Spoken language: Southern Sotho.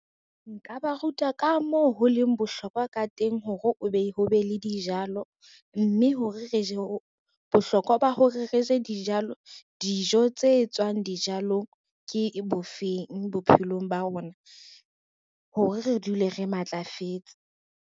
Nka ba ruta ka moo ho leng bohlokwa ka teng hore ho be le dijalo, mme bohlokwa ba hore re je dijo tse tswang dijalong ke bofeng bophelong ba rona, hore re dule re matlafetse.